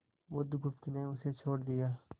बुधगुप्त ने उसे छोड़ दिया